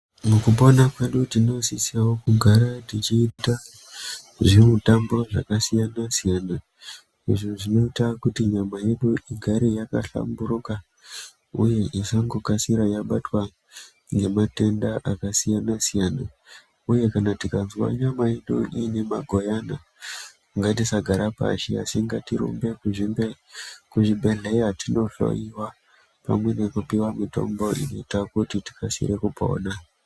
Mukupona kwedu tinosisevo kugara tichiita zvimutambo zvakasiyana-siyana. Izvo zvinoita kuti nyama yedu igare yakahlamburuka, uye isango kasire yangobatwa ngematenda akasiyana-siyana, uye kana tikanzwa nyama yedu ine mangwayana ngatisagara pashi asi ngatirumbe kuzvibhedhleya tinohloiwa pamwe nekupiva mitombo inoita kuti tikasire kupona.